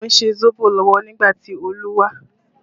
Mo ń ṣe sóbò lọ́wọ́ nígbà tí Olu wá